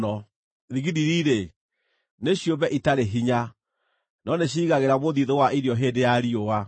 Thigiriri-rĩ, nĩ ciũmbe itarĩ hinya, no nĩciĩigagĩra mũthiithũ wa irio hĩndĩ ya riũa;